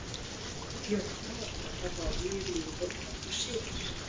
Jóhanna var brennd á báli í Rúðuborg nokkru síðar.